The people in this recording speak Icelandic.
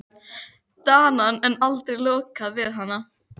Danann, en aldrei lokið við hana.